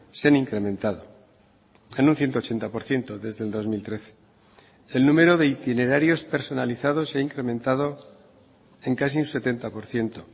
se han incrementado en un ciento ochenta por ciento desde el dos mil trece el número de itinerarios personalizados se ha incrementado en casi un setenta por ciento